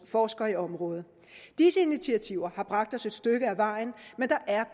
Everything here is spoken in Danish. forsker i området disse initiativer har bragt os et stykke ad vejen